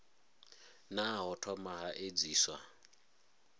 naa ho thoma ha edziswa